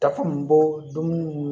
Dafan mun b'o dumuni